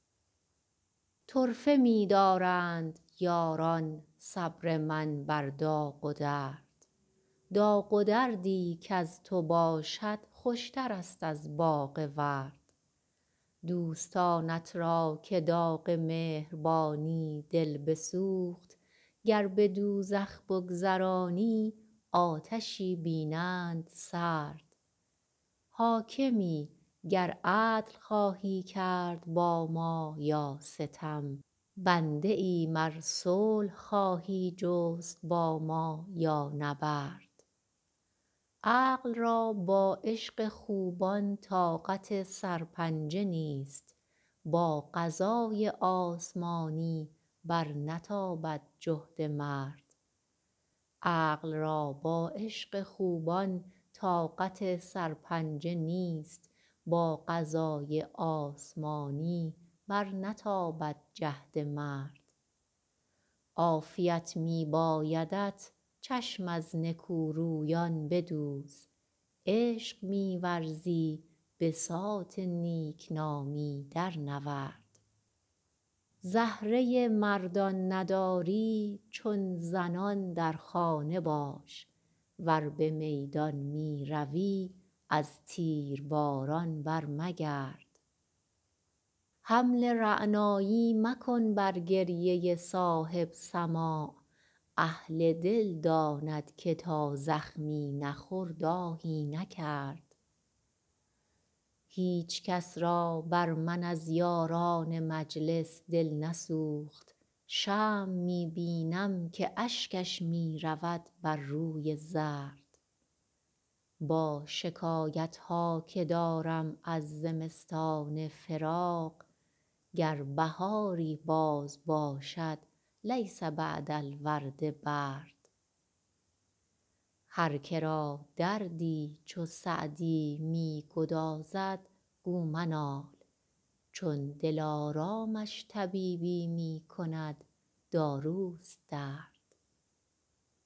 طرفه می دارند یاران صبر من بر داغ و درد داغ و دردی کز تو باشد خوشترست از باغ ورد دوستانت را که داغ مهربانی دل بسوخت گر به دوزخ بگذرانی آتشی بینند سرد حاکمی گر عدل خواهی کرد با ما یا ستم بنده ایم ار صلح خواهی جست با ما یا نبرد عقل را با عشق خوبان طاقت سرپنجه نیست با قضای آسمانی برنتابد جهد مرد عافیت می بایدت چشم از نکورویان بدوز عشق می ورزی بساط نیک نامی درنورد زهره مردان نداری چون زنان در خانه باش ور به میدان می روی از تیرباران برمگرد حمل رعنایی مکن بر گریه صاحب سماع اهل دل داند که تا زخمی نخورد آهی نکرد هیچ کس را بر من از یاران مجلس دل نسوخت شمع می بینم که اشکش می رود بر روی زرد با شکایت ها که دارم از زمستان فراق گر بهاری باز باشد لیس بعد الورد برد هر که را دردی چو سعدی می گدازد گو منال چون دلارامش طبیبی می کند داروست درد